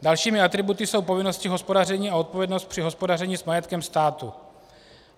Dalšími atributy jsou povinnosti hospodaření a odpovědnost při hospodaření s majetkem státu.